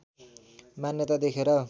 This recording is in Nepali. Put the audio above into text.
मान्यता देखेर